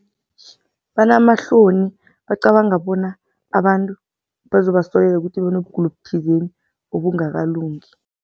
Banamahloni, bacabanga bona abantu bazokubasolela ukuthi banokugula okuthizeni ongakalungi.